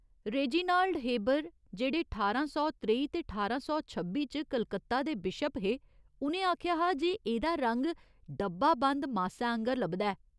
Reginald Heber, जेह्ड़े ठारां सौ त्रेई ते ठारां सौ छब्बी च कलकत्ता दे बिशप हे, उ'नें आखेआ हा जे एह्दा रंग डब्बा बंद मासै आंह्गर लभदा ऐ,